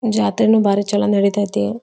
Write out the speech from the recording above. ಜಾತ್ರೆನೂ ಬಾರಿ ಚಲೋ ನಡಿತ್ಯ್ ತಿ.